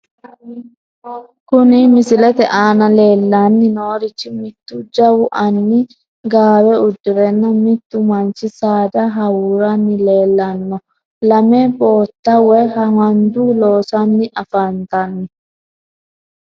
Kuni misilete aana leellanni noorichi mittu jawu anni gaawe uddirenna mittu manchi saada hawuuranni leellanno. lame bootta woy handu loossanni afantanno.